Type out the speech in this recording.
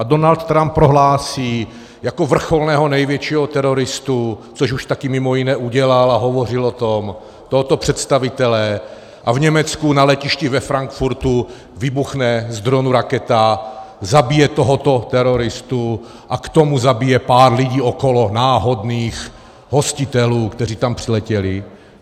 A Donald Trump prohlásí jako vrcholného největšího teroristu, což už také mimo jiné udělal, a hovořil o tom, tohoto představitele a v Německu na letišti ve Frankfurtu vybuchne z dronu raketa, zabije tohoto teroristu a k tomu zabije pár lidí okolo, náhodných hostitelů, kteří tam přiletěli.